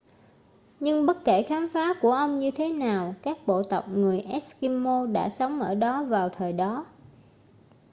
nhưng bất kể khám phá của ông như thế nào các bộ tộc người eskimo đã sống ở đó vào thời đó